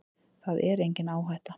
Það er engin áhætta.